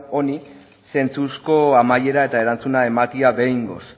honi zentzuzko amaiera eta erantzuna ematea behingoz